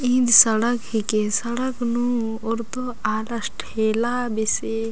इन सड़क हिके सड़क नू ओरतो आलस ठेला बेसे--